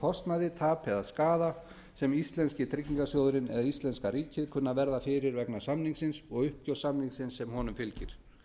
kostnaði tapi eða skaða sem íslenski tryggingarsjóðurinn eða íslenska ríkið kunna að verða fyrir vegna samningsins og uppgjörssamningsins sem honum fylgir